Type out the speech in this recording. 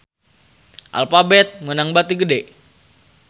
Alphabet meunang bati gede